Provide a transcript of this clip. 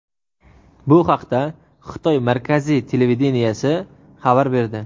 Bu haqda Xitoy markaziy televideniyesi xabar berdi.